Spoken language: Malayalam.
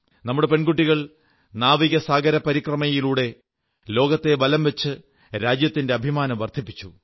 നമ്മുടെ പെൺകുട്ടികൾ നാവികസാഗരപരിക്രമയിലൂടെ ലോകത്തെ വലം വച്ച് രാജ്യത്തിന്റെ അഭിമാനം വർധിപ്പിച്ചു